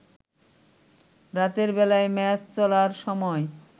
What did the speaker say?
রাতের বেলায় ম্যাচ চলার সময়